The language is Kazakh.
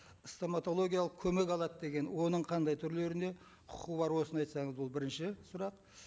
стоматологиялық көмек алады деген оның қандай түрлеріне құқы бар осыны айтсаңыз ол бірінші сұрақ